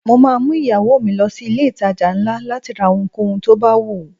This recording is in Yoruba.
Mo máa mú ìyàwó mi lọ sí ilé ìtajà ńlá láti ra ohunkóhun tó bá wùú.